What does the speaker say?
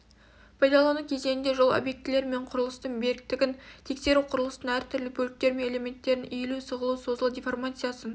пайдалану кезеңінде жол объектілері мен құрылыстың беріктігін тексеру құрылыстың әртүрлі бөліктері мен элементтерінің иілу сығылу созылу деформациясын